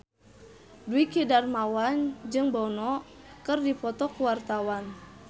Dwiki Darmawan jeung Bono keur dipoto ku wartawan